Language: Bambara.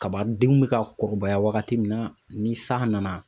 Kaba denw bɛ ka kɔrɔbaya wagati min na, ni san nana.